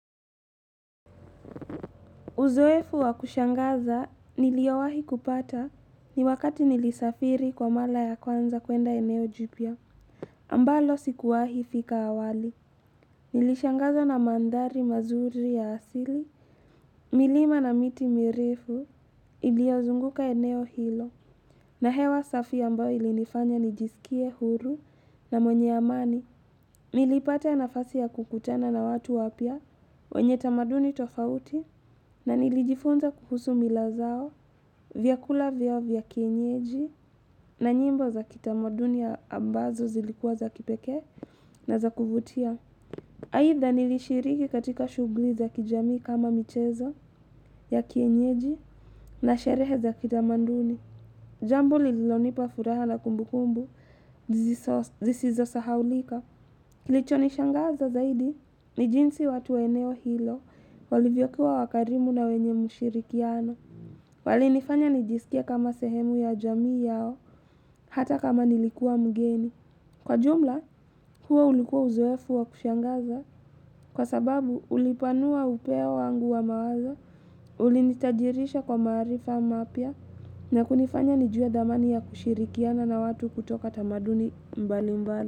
Uzoefu wa kushangaza niliowahi kupata ni wakati nilisafiri kwa mala ya kwanza kuenda eneo jupia. Ambalo sikuwahi fika awali. Nilishangazwa na mandhari mazuri ya asili. Milima na miti mirefu iliozunguka eneo hilo. Na hewa safi ambayo ilinifanya nijisikie huru na mwenye amani. Nilipata nafasi ya kukutana na watu wapia wenye tamaduni tofauti na nilijifunza kuhusu mila zao vyakula vyao vya kienyeji na nyimbo za kitamaduni ambazo zilikuwa za kipekee na za kuvutia. Haitha nilishiriki katika shughuli za kijamii kama michezo ya kienyeji na sherehe za kitamaduni. Jambo lilonipa furaha na kumbukumbu, zisizosahaulika. Kilichonishangaza zaidi, ni jinsi watu wa eneo hilo, walivyokua wakarimu na wenye mshirikiano. Walinifanya nijisikie kama sehemu ya jamii yao, hata kama nilikua mgeni. Kwa jumla, huo ulikua uzoefu wa kushangaza, kwa sababu ulipanua upea wangu wa mawazo, Ulinitajirisha kwa maarifa mapya na kunifanya nijue dhamani ya kushirikiana na watu kutoka tamaduni mbali mbali.